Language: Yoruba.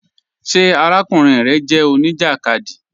Ṣé àràkùnrin rẹ jẹ oníjakádí?